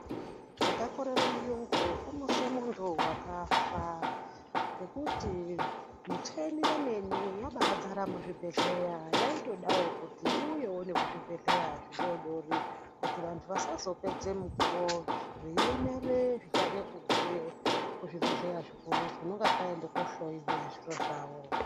Zvakakorere muyungu kumutsa muntu wakafa ngekuti micheni yakadzara muzvibhedhlera yaitodawo kuti iuye kuzvibhedhlera zvidodori kuti vantu vasazopedze mukuwo veiemere zvichade kubve kuzvibhedhlera zvikuru kunonge kwaenda kunohloyiwa zviro zvavo.